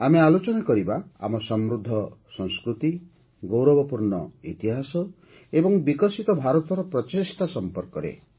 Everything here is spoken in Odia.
ଆମେ ଆଲୋଚନା କରିବା - ଆମ ସମୃଦ୍ଧ ସଂସ୍କୃତି ଗୌରବପୂର୍ଣ୍ଣ ଇତିହାସ ଏବଂ ବିକଶିତ ଭାରତର ପ୍ରଚେଷ୍ଟା ସମ୍ପର୍କରେ